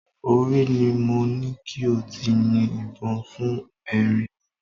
Orí ni mo ní kí o ti yin ìbọn fún erin náà